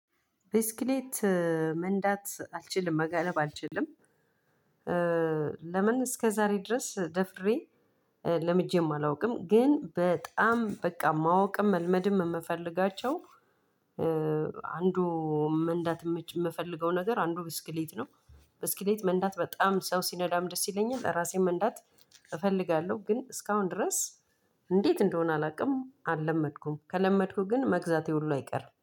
ብስክሌት መንዳት አልችልም መጋለብ አልችልም? ለምን እስከዛሬ ድረስ ደፍሬ ለምጄም አላውቅም። ግን በጣም በቃ ማወቅም መልመድም የምፈልጋቸው። አንዱ መንዳት የምፈልገው ነገር አንዱ ብስክሌት ነው። ብስክሌት መንዳት በጣም ሰው ሲነዳም ደስ ይለኛል እራሴም መንዳት እፈልጋለሁ ግን እስካሁን ድረስ። እንዴት እንደሆነ አላውቅም አልለመድኩም ከለመድኩ ግን መግዛቴ ሁሉ አይቀርም